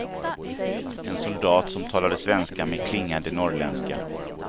En soldat som talade svenska med klingande norrländska.